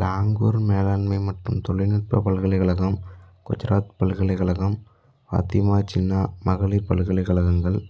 லாகூர் மேலாண்மை மற்றும் தொழில்நுட்ப பல்கலைக்கழகம் குஜராத் பல்கலைக்கழகம் பாத்திமா ஜின்னா மகளிர் பல்கலைக்கழகங்கள்